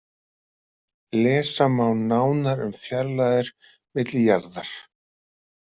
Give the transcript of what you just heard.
Lesa má nánar um fjarlægðir milli jarðar.